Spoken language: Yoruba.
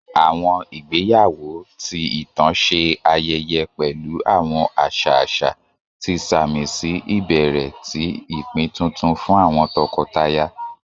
Àwọn ìgbéyáwọ́, ti itan ṣe ayẹyẹ pẹlu àwọn aṣa aṣa, ti samisi ibẹrẹ ti ipin tuntun fun àwọn tọkọtaya.